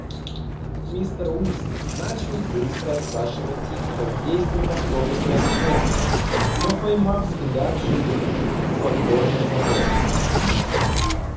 мистер уизли начал было спрашивать их как действуют автобусные остановки но поймав взгляд жены покорно замолк